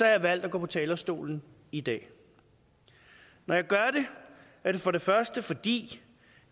jeg valgt at gå på talerstolen i dag når jeg gør det er det for det første fordi